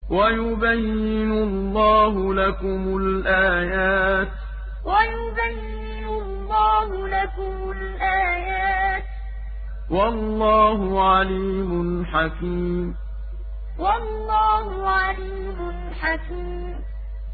وَيُبَيِّنُ اللَّهُ لَكُمُ الْآيَاتِ ۚ وَاللَّهُ عَلِيمٌ حَكِيمٌ وَيُبَيِّنُ اللَّهُ لَكُمُ الْآيَاتِ ۚ وَاللَّهُ عَلِيمٌ حَكِيمٌ